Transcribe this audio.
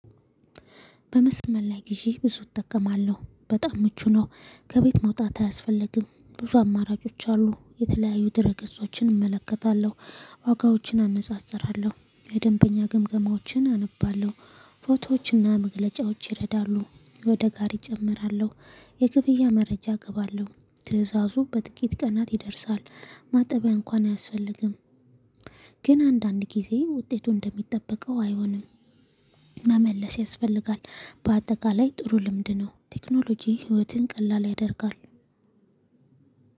በመስመር ላይ ግዢ ብዙ እጠቀማለሁ በጣም ምቹ ነው ከቤት መውጣት አያስፈልግም ብዙ አማራጮች አሉ የተለያዩ ድርገጾችን እመለከታለሁ። ዋጋዎችን አነጻጽራለሁ የደንበኛ ግምገማዎችን አነባለሁ። ፎቶዎችና መግለጫዎች ይረዳሉ ወደ ጋሪ እጨምራለሁ። የክፍያ መረጃ እገባለሁ ትእዛዙ በጥቂት ቀናት ይደርሳል። ማጠቢያ እንኳን አያስፈልግም። ግን አንዳንድ ጊዜ ውጤቱ እንደሚጠበቀው አይሆንም። መመለስ ያስፈልጋል። በአጠቃላይ ጥሩ ልምድ ነው። ቴክኖሎጂ ህይወትን ቀላል ያደርጋል።